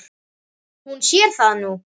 Hún sér það nú.